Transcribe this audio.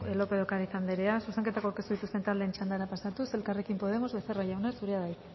lópez de ocariz andrea zuzenketak aurkeztu dituzten taldeen txandara pasatuz elkarrekin podemos becerra jauna zurea da hitza